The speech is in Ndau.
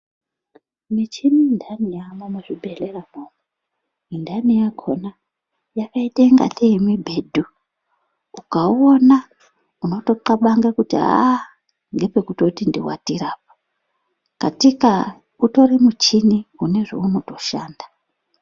Michini indani yamwo mu zvibhedhlera mwo undani yakona yakaite kungatee mibhedhu ukaona unoto kabange kuti aaa ngepe kutoti ndi watire apa katika utori muchini une zve unoto shanda.